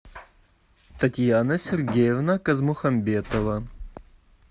татьяна сергеевна казмухамбетова